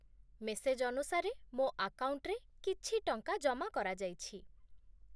message ଅନୁସାରେ, ମୋ ଆକାଉଣ୍ଟରେ କିଛି ଟଙ୍କା ଜମା କରାଯାଇଛି